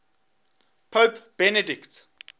pope benedict